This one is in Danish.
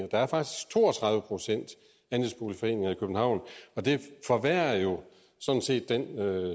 der er faktisk to og tredive procent andelsboligforeninger i københavn og det forværrer jo sådan set den